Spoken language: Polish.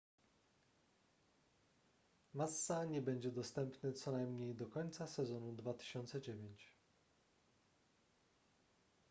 massa nie będzie dostępny co najmniej do końca sezonu 2009